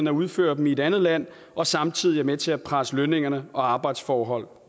at udføre dem i et andet land og samtidig er med til at presse lønninger og arbejdsforhold